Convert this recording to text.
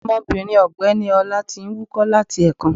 Omobìnrin ọ̀gbẹ́ni ọlá ti n wúkọ́ láti èkan